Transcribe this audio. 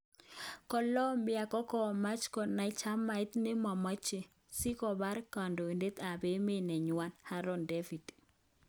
Colombia kokomach konan jamait nepomache,"si kopar kandoitet ap emet neywan,"Haron david.